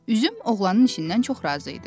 Üzüm oğlanın işindən çox razı idi.